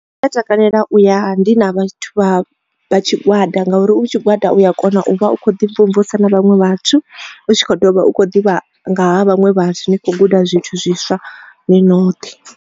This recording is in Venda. Ndi a takalela u ya ndi na vhathu vha tshigwada ngauri u na tshigwada u ya kona u vha u kho ḓi mvumvusa na vhaṅwe vhathu u tshi kho dovha u tshi kho ḓivha nga ha vhaṅwe vhathu u kho guda zwithu zwiswa ni noṱhe.